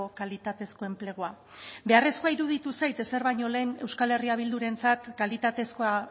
kalitatezko enplegua beharrezkoa iruditu zait ezer baino lehen euskal herria bildurentzat